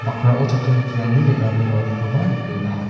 bakrao chatro chatrirangni re·rame roanikoba nikenga.